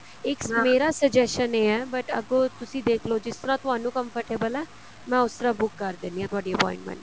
ਇੱਕ suggestion ਇਹ ਹੈ but ਅੱਗੋ ਤੁਸੀਂ ਦੇਖਲੋ ਜਿਸ ਤਰ੍ਹਾਂ ਤੁਹਾਨੂੰ comfortable ਏ ਮੈਂ ਉਸ ਤਰ੍ਹਾਂ ਬੁੱਕ ਕਰ ਦਿੰਨੀ ਹਾਂ ਤੁਹਾਡੀ appointment